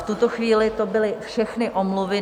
V tuto chvíli to byly všechny omluvy.